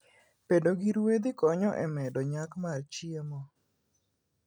Bedo gi ruedhi konyo e medo nyak mar chiemo.